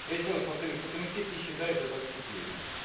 я ещё раз повторюсь что комитет не считает это отступлением